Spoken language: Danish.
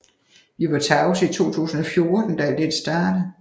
Vi var tavse i 2014 da alt dette startede